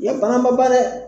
I ka bana ma ban dɛ